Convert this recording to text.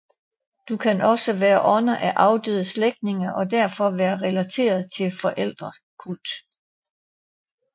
De kan også have været ånder af afdøde slægtninge og derfor være relateret til forfædrekult